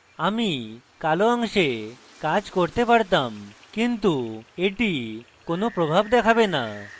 আমি কালো অংশে কাজ করতে পারতাম কিন্তু এটি কোন প্রভাব দেখাবে no